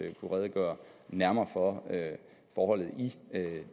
kunne redegøre nærmere for forholdet